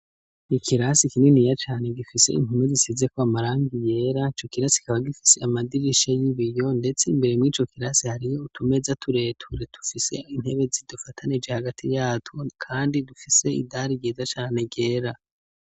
Ikirasi kininiya cane gifise impome zisizeko amarangi yera, ico kirasi kikaba gifise amadirisha y'ibiyo ndetse imbere mw'ico kirasi hariyo utumeza tureture dufise intebe zidufatanije hagati yatwo kandi dufise idari ryiza cane ryera.